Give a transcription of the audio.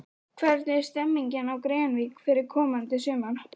Hvernig er stemmingin á Grenivík fyrir komandi sumar?